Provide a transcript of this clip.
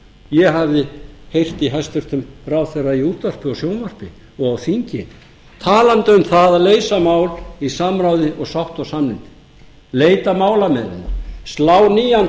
ég hafði heyrt í hæstvirtum ráðherra í útvarpi og sjónvarpi og á þingi talandi um það að leysa mál í samráði og sátt og samlyndi leita málamiðlana slá nýjan